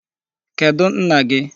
Kedụ nna gị?